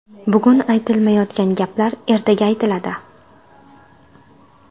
Bugun aytilmayotgan gaplar ertaga aytiladi.